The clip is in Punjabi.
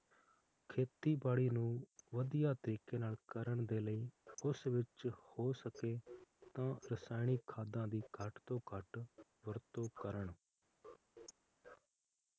ਖੇਤੀਬਾੜੀ ਨੂੰ ਵਧੀਆ ਤਰੀਕੇ ਨਾਲ ਕਰਨ ਦੇ ਲਾਇ ਉਸ ਵਿਚ ਹੋ ਸਕੇ ਤਾ ਰਸਾਇਣਿਕ ਖਾਦਾਂ ਦੀ ਘਟ ਤੋਂ ਘਟ ਵਰਤੋਂ ਕਰਨ l